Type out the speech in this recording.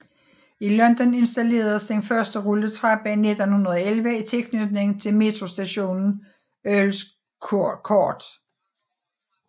I London installeredes den første rulletrappe i 1911 i tilknytning til metrostationen Earls Court